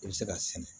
I bɛ se k'a sɛnɛ